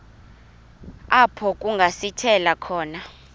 apho kungasithela khona